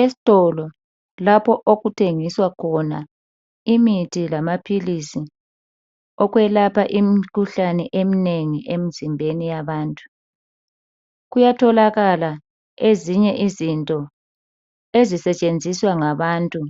Esitolo lapho okuthengiswa khona imithi lama philisi okwelapha imikhuhlane iminengi imzimbeni yabantu kuyatholakala izinye izinto esisentshenziswa ngabantu